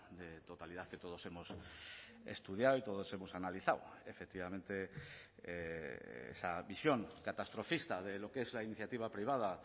de totalidad que todos hemos estudiado y todos hemos analizado efectivamente esa visión catastrofista de lo que es la iniciativa privada